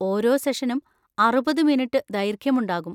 ഓരോ സെഷനും അറുപത് മിനിറ്റ് ദൈർഘ്യമുണ്ടാകും.